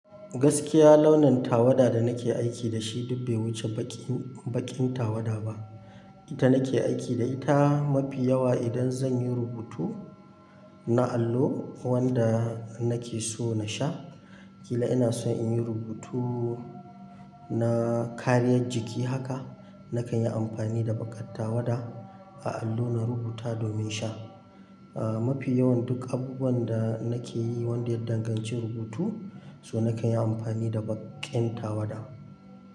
Gaskiya launin tawada da nake aiki da shi duk bai wuce baƙi baƙin tawada ba. Ita nake aiki da ita mafi yawa idan zan yi rubutu na allo wanda nake so na sha. Kila ina so inyi rubutu na kariyar jiki haka, nakan yi amfani da baƙar tawada a allo na rubuta domin sha. A mafi yawan duk abubuwan da nake yi wanda ya danganci rubutu, so nakan yi amfani da baƙin tawada.